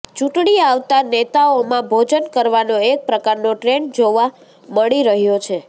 ચૂંટણી આવતા નેતાઓમાં ભોજન કરવાનો એક પ્રકારનો ટ્રેન્ડ જોવા મળી રહ્યો છે